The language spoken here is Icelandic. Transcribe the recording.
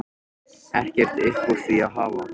Ekkert upp úr því að hafa?